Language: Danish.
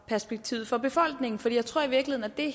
perspektivet for befolkningen for jeg tror i virkeligheden at det